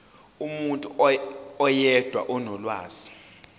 umuntu oyedwa onolwazi